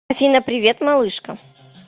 афина привет малышка